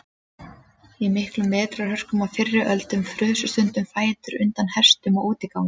Í miklum vetrarhörkum á fyrri öldum frusu stundum fætur undan hestum á útigangi.